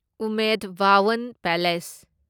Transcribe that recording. Umaid Bhawan palace